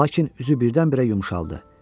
Lakin üzü birdən-birə yumşaldı.